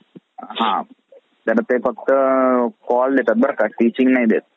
जर तुम्हाला रायगड रायगड मध्ये, hotel Kunal the garden the वॉटरफेट शो लवासा, आंतरिक रिष्ट्रीक आहे. रायगड हे शहराचे उत्तम प्रवासी ठिकाण आहे.